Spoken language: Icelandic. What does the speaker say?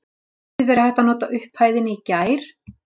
Hefði verið hægt að nota upphæðina í gær?